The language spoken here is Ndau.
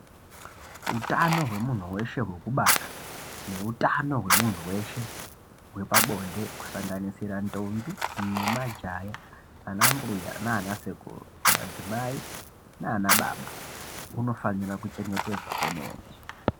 Utano hwemunhu weshe hwekubara neutano hwemunhu weshe hwepabonde kusanganisira ntombi nemajaya anambuya nana sekuru madzimai nana baba unofanira kuchengetedzwa kwemene.